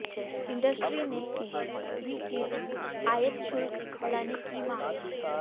industry ने भी की थी आयात शुल्क बढ़ाने की मांग